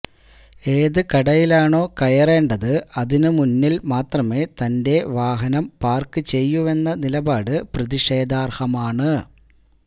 ഏത് കടയിലാണോ കയറേണ്ടത് അതിനു മുന്നില് മാത്രമെ തന്റെ വാഹനം പാര്ക്ക് ചെയ്യൂവെന്ന നിലപാട് പ്രതിഷേധാര്ഹമാണ്